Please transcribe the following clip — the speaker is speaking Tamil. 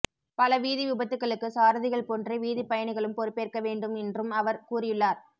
பல வீதி விபத்துக்களுக்கு சாரதிகள் போன்றே வீதிப் பயணிகளும் பொறுப்பேற்க வேண்டும் என்றும் அவர் கூறியுள்ளார்